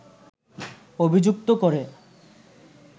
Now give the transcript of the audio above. অভিযুক্ত করে